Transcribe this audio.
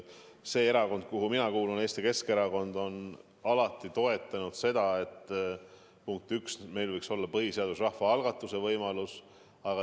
See erakond, kuhu mina kuulun, Eesti Keskerakond, on alati toetanud seda, et meil võiks olla põhiseaduses rahvaalgatuse võimalus.